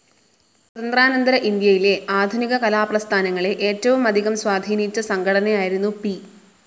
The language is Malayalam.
സ്വാതന്ത്ര്യാനന്തര ഇന്ത്യയിലെ ആധുനിക കലാ പ്രസ്ഥാനങ്ങളെ ഏറ്റവുമധികം സ്വാധീനിച്ച സംഘടനയായിരുന്നു പി.